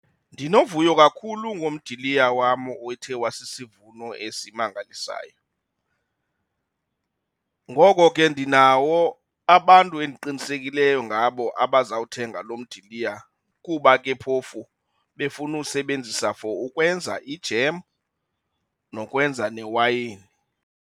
Ndinovuyo kakhulu ngomdiliya wam othe wasisivuno esimangalisayo. Ngoko ke ndinawo abantu endiqinisekileyo ngabo abazawuthenga loo mdiliya kuba ke phofu befuna uwusebenzisa for ukwenza ijem nokwenza newayini.